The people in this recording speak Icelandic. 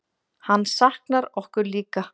Hann saknar okkur líka.